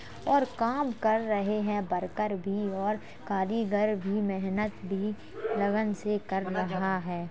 और काम कर रहे हैं बरकर भी और कारीगर भी मेहनत भी लगन से कर रहा है।